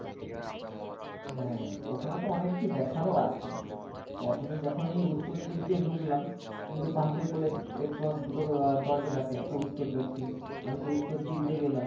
হ্যাঁ ওখানে তো অনেক কিছু দেখারও আছে প্রথমে যখনই উত্তর দিক দিয়ে ঢুকলাম তুমি তো first এই দুটো আহ দরজা থাকে একটা উত্তর দক্ষিণ আমি তো উত্তর দিক দিয়ে গেলাম।